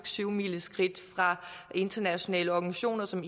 syvmileskridt fra internationale organisationer som